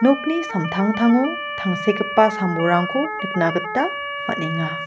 samtangtango tangsekgipa sam-bolrangko nikna gita man·enga.